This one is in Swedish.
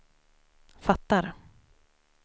fattar